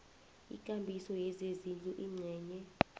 ikambiso yezezindlu ingcenye